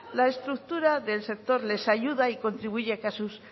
la estructura del sector les ayuda y contribuye que a sus